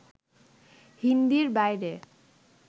হিন্দির বাইরে